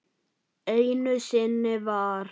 Einu sinni var.